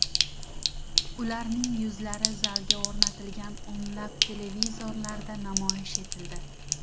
Ularning yuzlari zalga o‘rnatilgan o‘nlab televizorlarda namoyish etildi.